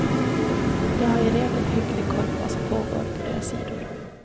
De har i regel hygglig koll på vad som pågår på deras sidor.